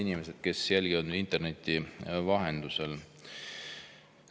Head inimesed, kes jälgivad meid interneti vahendusel!